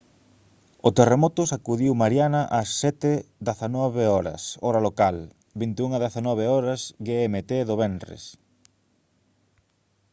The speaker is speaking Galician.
o terremoto sacudiu mariana ás 07:19 h hora local 21:19 h gmt do venres